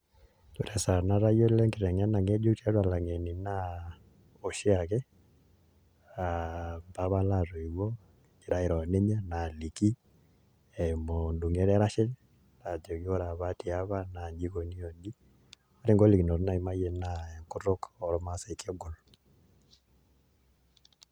Ore esaa natayiolo enkiteng'ena ng'ejuk tiatua ilang'eni naa oshi ake aa mpapa laa toiuo nekigira airo oninye naaliki eimu ndung'eta erashe naajoki ore apa tiapa naa inji ikoni o nji, ore ngolikinot naimayie naa enkutuk ormaasai naa kegol .